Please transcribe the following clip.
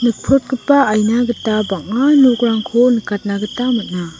nikprotgipa aina gita bang·a nokrangko nikatna gita man·a.